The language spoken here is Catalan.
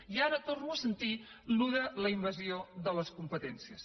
i ara torno a sentir això de la invasió de les competències